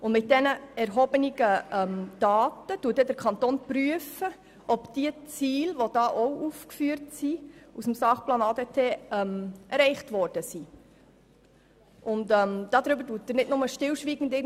Mit diesen erhobenen Daten prüft der Kanton, ob die im Sachplan ADT aufgeführten Ziele erreicht wurden.